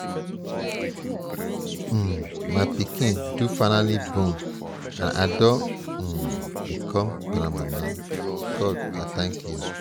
um my pikin do finally born and i don um become grandmama. god i thank you.